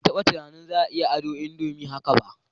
Ban taba tunanin za a iya ado indomie haka ba